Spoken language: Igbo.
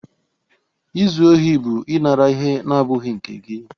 Izu ohi bụ ịnara ihe na-abụghị nke gị.